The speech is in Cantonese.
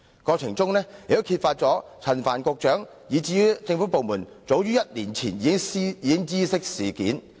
過程中同時揭發陳帆局長及政府部門早於1年前已知悉事件。